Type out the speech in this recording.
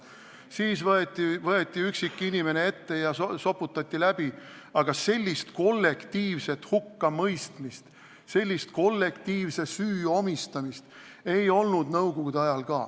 Siis võeti üksik inimene ette ja soputati läbi, aga sellist kollektiivset hukkamõistmist, sellist kollektiivse süü omistamist ei olnud isegi nõukogude ajal.